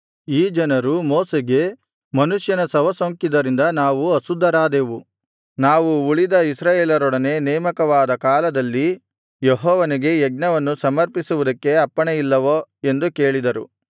ಈ ಜನರು ಮೋಶೆಗೆ ಮನುಷ್ಯನ ಶವಸೋಂಕಿದರಿಂದ ನಾವು ಅಶುದ್ಧರಾದೆವು ನಾವು ಉಳಿದ ಇಸ್ರಾಯೇಲರೊಡನೆ ನೇಮಕವಾದ ಕಾಲದಲ್ಲಿ ಯೆಹೋವನಿಗೆ ಯಜ್ಞವನ್ನು ಸಮರ್ಪಿಸುವುದಕ್ಕೆ ಅಪ್ಪಣೆಯಿಲ್ಲವೋ ಎಂದು ಕೇಳಿದರು